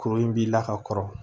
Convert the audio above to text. Kuru in b'i la ka kɔrɔ